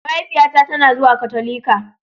mahaifiyata tana zuwa Katolika.